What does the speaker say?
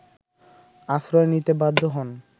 আশ্রয় নিতে বাধ্য হন